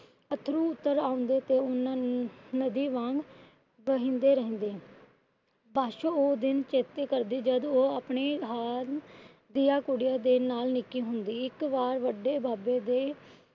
ਅੱਥਰੂ ਉੱਤਰ ਆਉਂਦੇ ਤੇ ਉਹਨਾਂ ਨੂੰ ਨਦੀ ਵਾਂਗ ਵਹਿੰਦੇ ਰਹਿੰਦੇ। ਪਾਸ਼ੋ ਉਹ ਦਿਨ ਚੇਤੇ ਕਰਦੀ ਜਦ ਉਹ ਆਪਣੇ ਹਾਣ ਦੀਆ ਕੁੜੀਆਂ ਦੇ ਨਾਲ ਨਿੱਕੀ ਹੁੰਦੀ ਇੱਕ ਵਾਰ ਵੱਡੇ ਬਾਬੇ ਦੇ